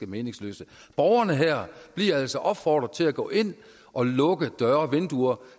meningsløse borgerne her bliver altså opfordret til at gå ind og lukke døre og vinduer